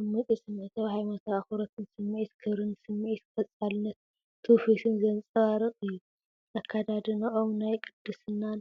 ዓሚቝ ስምዒት ሃይማኖታዊ ኣኽብሮትን ስምዒት ክብሪን ስምዒት ቀጻልነት ትውፊትን ዘንጸባርቕ እዩ። ኣከዳድናኦም ናይ ቅድስናን